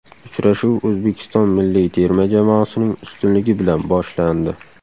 Uchrashuv O‘zbekiston milliy terma jamoasining ustunligi bilan boshlandi.